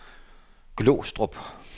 Glostrup